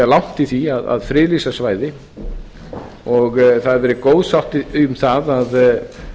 langt í því að friðlýsa svæði það hefur verið góð sátt um það að